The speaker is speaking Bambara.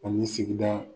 Ani sigida